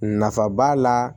Nafa b'a la